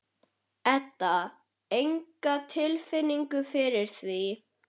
Edda: Enga tilfinningu fyrir því?